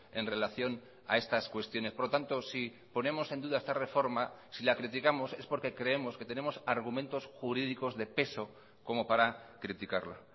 en relación a estas cuestiones por lo tanto si ponemos en duda esta reforma si la criticamos es porque creemos que tenemos argumentos jurídicos de peso como para criticarla